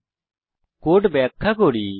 এখন কোড ব্যাখ্যা করি